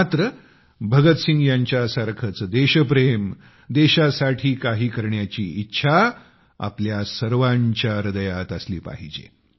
मात्र भगतसिंग यांच्यासारखेच देशप्रेम देशासाठी काही करण्याची इच्छा आपल्या सर्वांच्या हृदयात असली पाहिजे